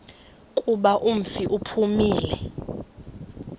kuba umfi uphumile